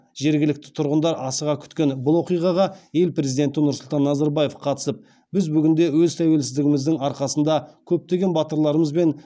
жергілікті тұрғындар асыға күткен бұл оқиғаға ел президенті нұрсұлтан назарбаев қатысып біз бүгінде өз тәуелсіздігіміздің арқасында көптеген батырларымыз бен